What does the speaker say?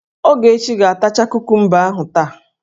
Ogechi ga-atacha kukumba ahụ taa!